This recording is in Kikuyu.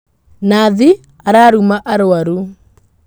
Nathi araruma arwaru.